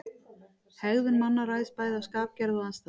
Hegðun manna ræðst bæði af skapgerð og aðstæðum.